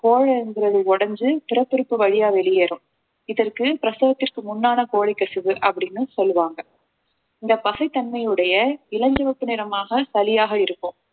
கோழைங்கிறது உடைஞ்சு பிறப்புறுப்பு வழியா வெளியேறும் இதற்கு பிரசவத்திற்கு முன்னான கோழைக் கசிவு அப்படின்னு சொல்லுவாங்க இந்த பசை தன்மையுடைய இளஞ்சிவப்பு நிறமாக சளியாக இருக்கும்